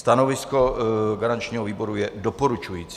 Stanovisko garančního výboru je doporučující.